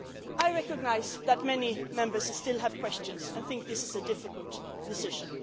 I recognise that many Members still have questions and think this is a difficult decision.